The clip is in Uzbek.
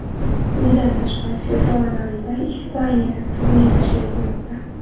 Bundan tashqari, fevral oyida Ispaniyada turnir tashkil etilmoqda.